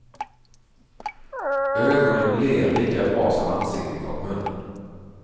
Ögonen ler lika bra som ansiktet och munnen.